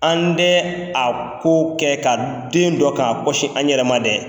An dɛ a ko kɛ ka den dɔ k'a kɔsi an yɛrɛ ma dɛ.